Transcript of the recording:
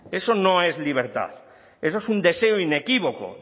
eso no es libertad eso es un deseo inequívoco